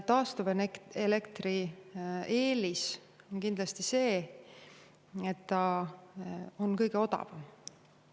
Taastuva elektri eelis on kindlasti see, et ta on kõige odavam.